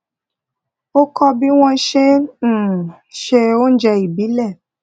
ó kọ́ bí wọ́n ṣe um ń se oúnjẹ ìbílẹ̀